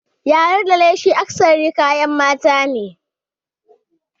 Yari da leshi akasari kayan mata ne.